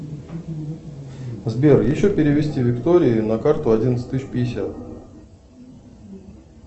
сбер еще перевести виктории на карту одиннадцать тысяч пятьдесят